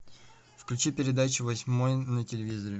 включи передачу восьмой на телевизоре